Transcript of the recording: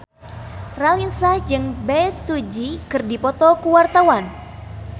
Raline Shah jeung Bae Su Ji keur dipoto ku wartawan